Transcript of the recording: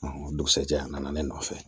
o dugusɛjɛ a nana ne nɔfɛ